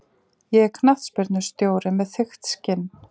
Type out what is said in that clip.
Ég er knattspyrnustjóri með þykkt skinn.